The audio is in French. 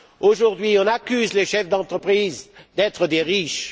Aujourd'hui, on accuse les chefs d'entreprise d'être des riches.